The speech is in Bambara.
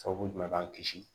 Sababu jumɛn b'an kisi